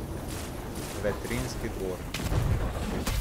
Vetrinjski dvor.